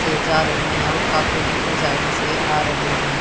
से जा रहे हैं और काफी दूसरी साइड से आ रहे हैं।